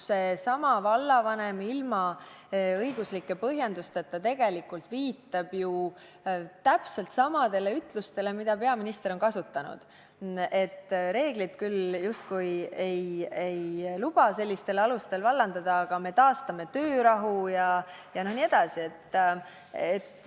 Seesama vallavanem ilma õiguslike põhjendusteta tegelikult viitab ju täpselt samadele ütlustele, mida peaminister on kasutanud: reeglid küll justkui ei luba sellistel alustel vallandada, aga me taastame töörahu jne.